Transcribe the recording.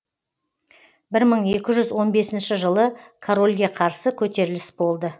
бір мың екі жүз он бесінші жылы корольге қарсы көтеріліс болды